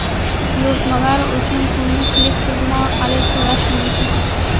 Buyurtmalar uchun pulni Click tizimi orqali to‘lash mumkin.